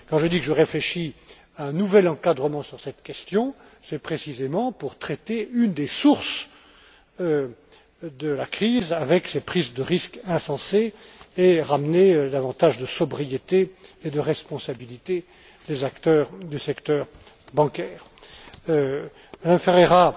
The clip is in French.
Quand je dis que je réfléchis à un nouvel encadrement sur cette question, c'est précisément pour traiter une des sources de la crise avec ces prises de risques insensés et ramener davantage de sobriété et de responsabilité des acteurs du secteur bancaire. Mme